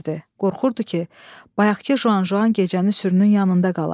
Qorxurdu ki, bayaqkı Juan Juan gecəni sürünün yanında qala.